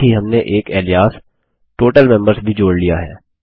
साथ ही हमने एक Aliasउपनाम टोटल मेंबर्स भी जोड़ लिया है